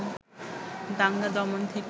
দাঙ্গা দমন থেকে